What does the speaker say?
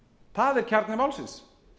það er kjarni málsins